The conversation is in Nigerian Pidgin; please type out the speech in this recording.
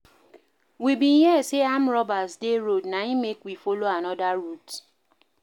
We bin hear sey armed robbers dey road na im make we folo anoda route.